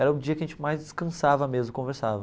Era o dia que a gente mais descansava mesmo, conversava.